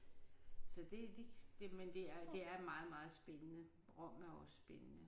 Så det de men det er det er meget meget spændende. Rom er også spændende